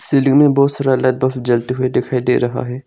Ceiling में बहुत सारा लाइट बॉक्स जलते हुए दिखाई दे रहा है।